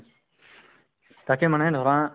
তাকে মানে